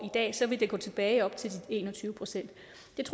ville det gå tilbage op til de en og tyve procent